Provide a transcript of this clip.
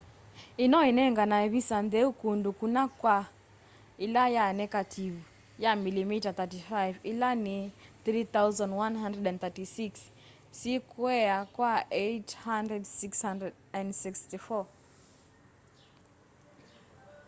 ino inenganae visa ntheu kundu kuna kwa ila ya nekativu ya milimita 35 ila ni 3136 sikwea kwa 864